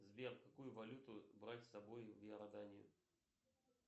сбер какую валюту брать с собой в иорданию